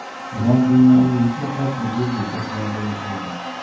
Ular dunyoning mutlaqo turli burchaklarida yashaydi.